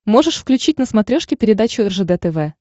можешь включить на смотрешке передачу ржд тв